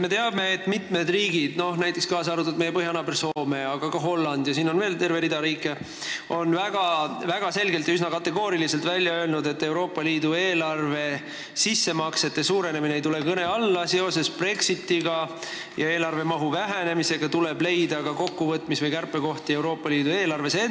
Me teame, et mitmed riigid, näiteks meie põhjanaaber Soome, aga ka Holland ja veel terve rida riike, on väga selgelt ja üsna kategooriliselt öelnud, et Euroopa Liidu eelarvesse tehtavate sissemaksete suurenemine seoses Brexitiga ei tule kõne alla ja eelarve mahu vähenemise tõttu tuleb leida kärpekohti kogu Euroopa Liidu eelarves.